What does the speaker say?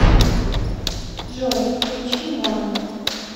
джой включи моно